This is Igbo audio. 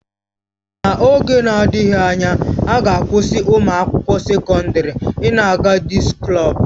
N'oge na-adịghị anya, a ga-akwụsị ụmụ akwụkwọ sekọndrị ị na-aga disko klọb